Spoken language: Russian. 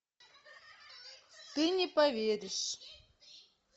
ты не поверишь